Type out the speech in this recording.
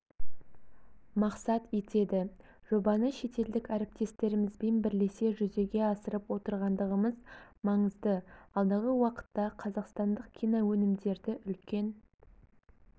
мақсат етеді жобаны шетелдік әріптестерімізбен бірлесе жүзеге асырып отырғандығымыз маңызды алдағы уақытта қазақстандық киноөнімдерді үлкен